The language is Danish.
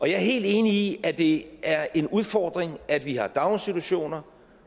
jeg er helt enig i at det er en udfordring at vi har daginstitutioner